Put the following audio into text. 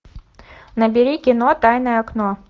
набери кино тайное окно